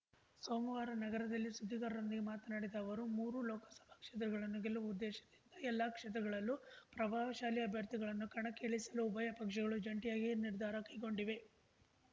ಸೋಮವಾರ ನಗರದಲ್ಲಿ ಸುದ್ದಿಗಾರರೊಂದಿಗೆ ಮಾತನಾಡಿದ ಅವರು ಮೂರೂ ಲೋಕಸಭಾ ಕ್ಷೇತ್ರಗಳನ್ನೂ ಗೆಲ್ಲುವ ಉದ್ದೇಶದಿಂದ ಎಲ್ಲಾ ಕ್ಷೇತ್ರಗಳಲ್ಲೂ ಪ್ರಭಾವಶಾಲಿ ಅಭ್ಯರ್ಥಿಗಳನ್ನು ಕಣಕ್ಕೆ ಇಳಿಸಲು ಉಭಯ ಪಕ್ಷಗಳು ಜಂಟಿಯಾಗಿ ನಿರ್ಧಾರ ಕೈಗೊಂಡಿವೆ